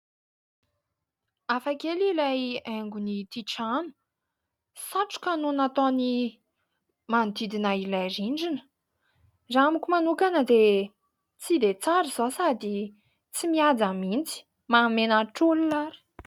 Hafa kely ilay haingon'ity trano; satroka no nataony manodidina ilay rindrina, raha amiko manokana dia tsy dia tsara izao sady tsy mihaja mihitsy, mahamenatr'olona ary.